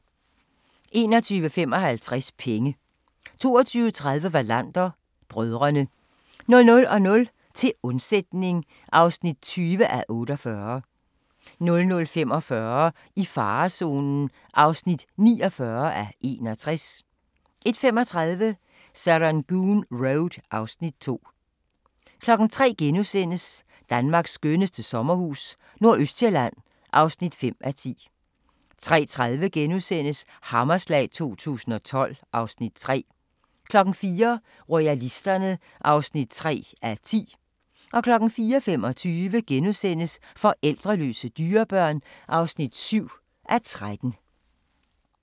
21:55: Penge 22:30: Wallander: Brødrene 00:00: Til undsætning (20:48) 00:45: I farezonen (49:61) 01:35: Serangoon Road (Afs. 2) 03:00: Danmarks skønneste sommerhus - nordøstsjælland (5:10)* 03:30: Hammerslag 2012 (Afs. 3)* 04:00: Royalisterne (3:10) 04:25: Forældreløse dyrebørn (7:13)*